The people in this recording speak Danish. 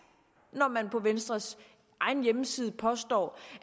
når man på venstres egen hjemmeside påstår